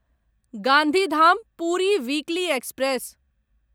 Gandhidham Puri weekly express